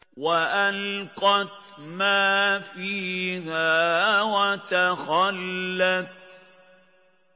وَأَلْقَتْ مَا فِيهَا وَتَخَلَّتْ